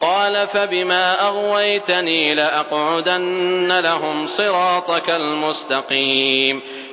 قَالَ فَبِمَا أَغْوَيْتَنِي لَأَقْعُدَنَّ لَهُمْ صِرَاطَكَ الْمُسْتَقِيمَ